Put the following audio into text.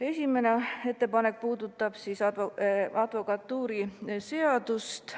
Esimene ettepanek puudutab advokatuuriseadust.